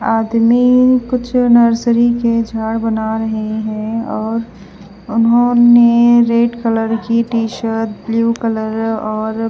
आदमी कुछ नर्सरी के झाड़ बना रहे हैं और उन्होंने रेड कलर की टी शर्ट ब्लू कलर और--